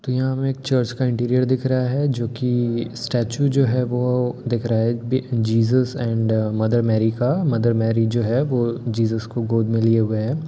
तो यहाँ हमें एक चर्च का इंटीरियर दिख रहा है जो कि स्टेचू जो है वो दिख रहा है एक-बे -जीसस है एंड मदर मैरी का मदर मैरी जो है वो जीसस को गोद में लिए हुए हैं।